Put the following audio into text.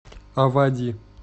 авади